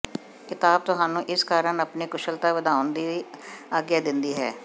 ਕਿਤਾਬ ਤੁਹਾਨੂੰ ਇਸ ਕਾਰਨ ਆਪਣੀ ਕੁਸ਼ਲਤਾ ਵਧਾਉਣ ਦੀ ਆਗਿਆ ਦਿੰਦੀ ਹੈ